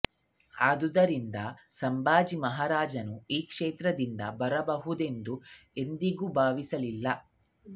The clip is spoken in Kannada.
ಆದ್ದರಿಂದ ಸಂಭಾಜಿ ಮಹಾರಾಜನು ಈ ಶತ್ರುದಿಂದ ಬರಬಹುದೆಂದು ಎಂದಿಗೂ ಭಾವಿಸಲಿಲ್ಲ